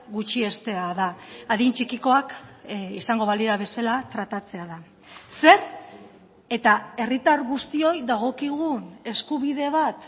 gutxiestea da adin txikikoak izango balira bezala tratatzea da zer eta herritar guztioi dagokigun eskubide bat